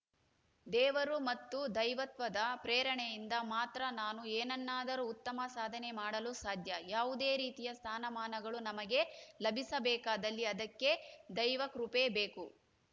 ದೇವರು ಮತ್ತು ದೈವತ್ವದ ಪ್ರೇರಣೆಯಿಂದ ಮಾತ್ರ ನಾನು ಏನನ್ನಾದರೂ ಉತ್ತಮ ಸಾಧನೆ ಮಾಡಲು ಸಾಧ್ಯ ಯಾವುದೇ ರೀತಿಯ ಸ್ಥಾನಮಾನಗಳು ನಮಗೆ ಲಭಿಸಬೇಕಾದಲ್ಲಿ ಅದಕ್ಕೆ ದೈವಕೃಪೆ ಬೇಕು